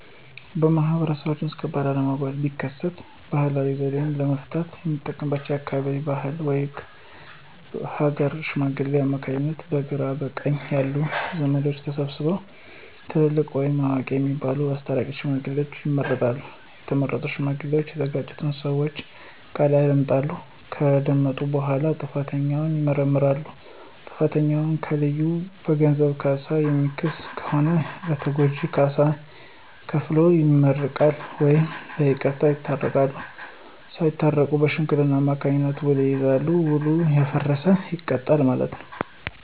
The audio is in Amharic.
በማህበረሰቡ ውስጥ ከባድ አለመግባባት ቢከሰት ባህላዊ ዘዴ ለመፍታት የምንጠቀምባቸው በአካባቢው ባህልና ወግ በሀገረ ሽማግሌዎች አማካኝነት በግራ በቀኝ ያሉ ዘመዶች ተሰብስበው ትልልቅ ወይም አዋቂ የሚባሉት አስታራቂ ሽማግሌዎችን ይመርጣሉ። የተመረጡ ሽማግሌዎች እየተጋጩትን ሰወች ቃል ያዳምጣሉ። ከዳመጡ በኋላ ጥፋተኛውን ይመረምራሉ። ጥፋተኛውን ከለዩ በገንዘብ ካሳ የሚክስ ከሆነ ለተጎጁ ካሳ ከፍሎ ይመረቃል ወይም በይቅርታ ይታረቃሉ። ሳታረቁ በሽማግሌዎች አማካኝነት ዉል ይያያዛል። ዉሉ ያፈረሰ ይቀጣል ማለት ነው።